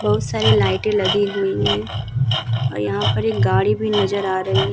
बहुत सारे लाइटे लगी हुई हैं और यहाँ पे एक गाड़ी भी नजर आ रही है ।